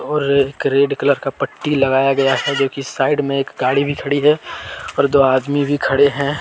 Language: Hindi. एक रेड कलर का पट्टी लगाया गया है जो कि साइड में एक गाड़ी भी खड़ी है और दो आदमी भी खड़े हैं।